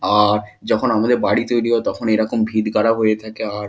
আর- যখন আমাদের বাড়ি তৈরি হয় তখন এই রকম ভীত গারা হয়ে থাকে আর-